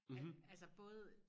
At altså både